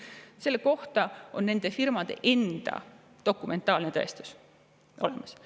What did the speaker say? Selle kohta on nende firmade endi dokumentaalne tõestus olemas.